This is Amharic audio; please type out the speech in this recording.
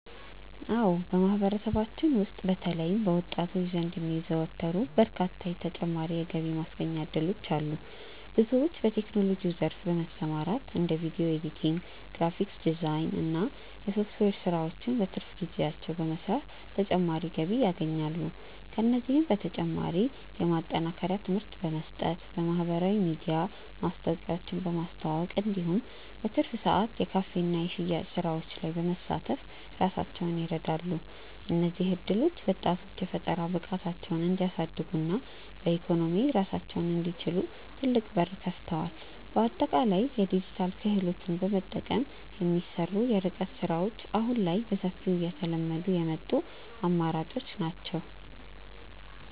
አዎ በማህበረሰባችን ውስጥ በተለይም በወጣቶች ዘንድ የሚዘወተሩ በርካታ ተጨማሪ የገቢ ማስገኛ እድሎች አሉ። ብዙዎች በቴክኖሎጂው ዘርፍ በመሰማራት እንደ ቪዲዮ ኤዲቲንግ፣ ግራፊክስ ዲዛይን እና የሶፍትዌር ስራዎችን በትርፍ ጊዜያቸው በመስራት ተጨማሪ ገቢ ያገኛሉ። ከእነዚህም በተጨማሪ የማጠናከሪያ ትምህርት በመስጠት፣ በማህበራዊ ሚዲያ ማስታወቂያዎችን በማስተዋወቅ እንዲሁም በትርፍ ሰዓት የካፌና የሽያጭ ስራዎች ላይ በመሳተፍ ራሳቸውን ይረዳሉ። እነዚህ እድሎች ወጣቶች የፈጠራ ብቃታቸውን እንዲያሳድጉና በኢኮኖሚ ራሳቸውን እንዲችሉ ትልቅ በር ከፍተዋል። በአጠቃላይ የዲጂታል ክህሎትን በመጠቀም የሚሰሩ የርቀት ስራዎች አሁን ላይ በሰፊው እየተለመዱ የመጡ አማራጮች ናቸው።